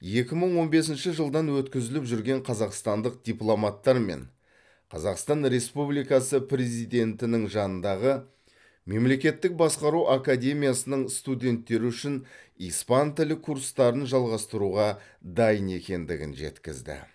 екі мың он бесінші жылдан өткізіліп жүрген қазақстандық дипломаттар мен қазақстан республикасының президентінің жанындағы мемлекеттік басқару академиясының студенттері үшін испан тілі курстарын жалғастыруға дайын екендігін жеткізді